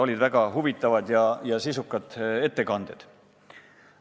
Olid väga huvitavad ja sisukad ettekanded.